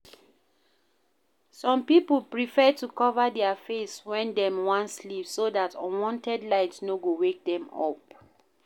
Some pipo prefer to cover their face when dem wan sleep so dat unwanted light no go wake dem up